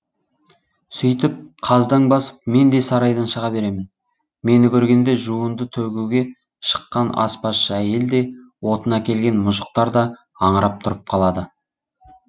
сөйтіп қаздаң басып мен де сарайдан шыға беремін мені көргенде жуынды төгуге шыққан аспазшы әйел де отын әкелген мұжықтар да аңырап тұрып қалады